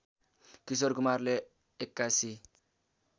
किशोर कुमारले ८१